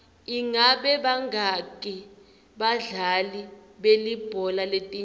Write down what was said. ingabe bangaki badlali belibhola letinyawo